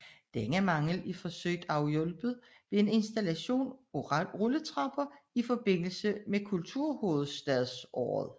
Denne mangel er forsøgt afhjulpet ved en installation af rulletrapper i forbindelse med kulturhovedstadsåret